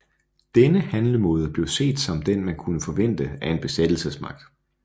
Denne handlemåde blev set som den man kunne forvente af en besættelsesmagt